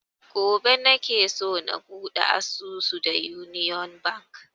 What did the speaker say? Gobe nake so na buɗe asusu da union bank